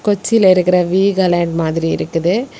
உச்சில இருக்குற வீகாலேண்ட் மாதிரி இருக்குது.